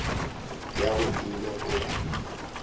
ya go ile go ya